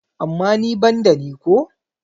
amma ni ban da ni ko?